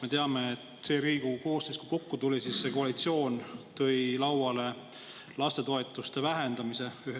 Me teame, et kui see Riigikogu koosseis kokku tuli, siis koalitsioon tõi lauale lastetoetuste vähendamise.